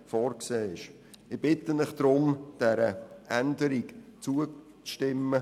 Ich bitte Sie deshalb, dieser Änderung zuzustimmen.